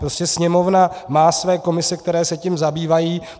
Prostě Sněmovna má své komise, které se tím zabývají.